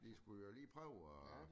De skulle jo lige prøve at